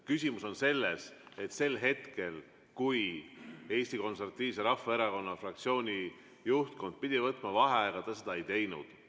Küsimus on selles, et sel hetkel, kui Eesti Konservatiivse Rahvaerakonna fraktsiooni juhtkond pidi võtma vaheaega, ta seda ei teinud.